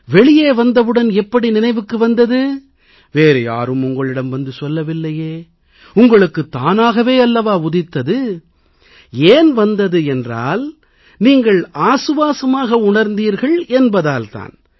வெளியே வந்தவுடன் எப்படி நினைவுக்கு வந்தது வேறு யாரும் உங்களிடம் வந்து சொல்லவில்லையே உங்களுக்கு தானாகவே அல்லவா உதித்தது ஏன் வந்தது என்றால் நீங்கள் ஆசுவாசமாக உணர்ந்தீர்கள் என்பதால் தான்